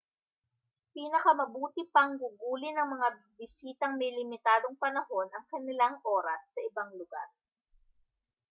pinakamabuti pang gugulin ng mga bisitang may limitadong panahon ang kanilang oras sa ibang lugar